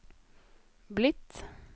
blitt